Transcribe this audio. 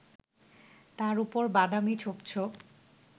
তার উপর বাদামি ছোপ ছোপ